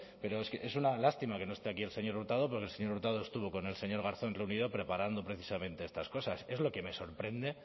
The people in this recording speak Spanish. pero es una lástima que no esté aquí el señor hurtado pero el señor hurtado estuvo con el señor garzón reunido preparando precisamente estas cosas es lo que me sorprende